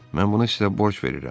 Mən bunu sizə borc verirəm.